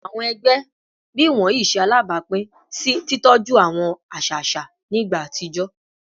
Awọn ẹgbẹ bii iwọnyi ṣe alabapin si titọju awọn aṣa aṣa ni igba atijọ